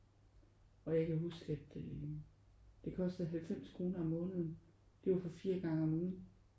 Og jeg kan huske at øh det kostede 90 kroner om måneden. Det var for 4 gange om ugen